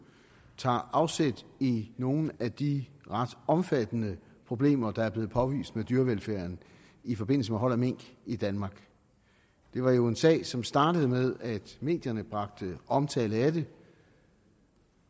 tager afsæt i nogle af de ret omfattende problemer der er blevet påvist med dyrevelfærden i forbindelse med hold af mink i danmark det var jo en sag som startede med at medierne bragte omtale af det